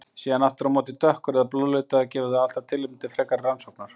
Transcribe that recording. Sé hann aftur á móti dökkur eða blóðlitaður gefur það alltaf tilefni til frekari rannsóknar.